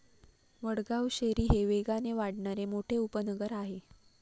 वडगाव शेरी हे वेगाने वाढणारे मोठे उपनगर आहे.